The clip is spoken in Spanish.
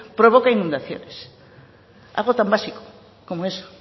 provoca inundaciones algo tan básico como eso